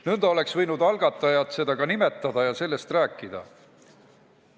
Nõnda oleks võinud algatajad seda ka nimetada ja sellest ka rääkida.